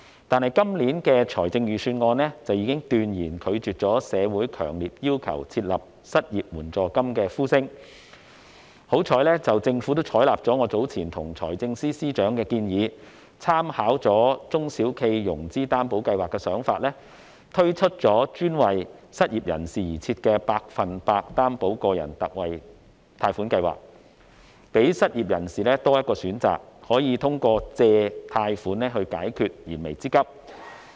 但是，今年的財政預算案已經斷然拒絕社會強烈要求設立失業援助金的呼聲，幸好政府採納了我早前向財政司司長提出的建議，參考中小企融資擔保計劃的做法，推出專為失業人士而設的百分百擔保個人特惠貸款計劃，讓失業人士有多一個選擇，可以通過貸款解決燃眉之急。